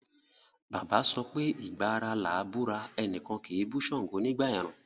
Bàbá sọpé “ ìgba ara làá búra, ẹnìkan kì í bú ṣàngó nígbà ẹ̀rùn”.